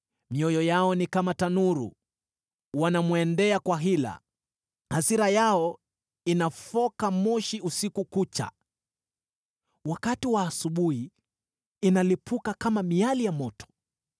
Mioyo yao ni kama tanuru, wanamwendea kwa hila. Hasira yao inafoka moshi usiku kucha, wakati wa asubuhi inalipuka kama miali ya moto.